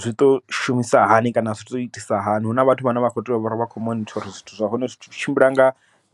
zwi to shumisa hani kana zwi to itisa hani, huna vhathu vhane vha kho tea uvha vha khou monitha uri zwithu zwa hone zwi tshimbila nga